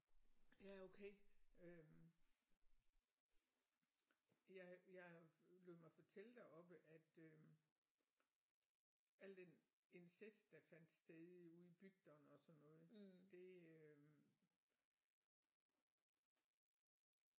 Ja okay øh jeg jeg lod mig fortælle deroppe at øh al den incest der fandt sted ude i bygderne og sådan noget det øh